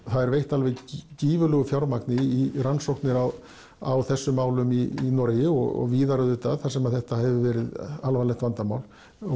það er veitt alveg gífurlegu fjármagni í rannsóknir á á þessum málum í Noregi og víðar auðvitað þar sem þetta hefur verið alvarlegt vandamál